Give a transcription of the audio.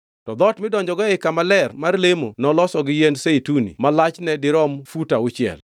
To dhoot midonjogo ei kama ler mar lemo noloso gi yiend zeituni ma lachne dirom fut auchiel.